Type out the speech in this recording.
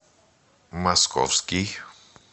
московский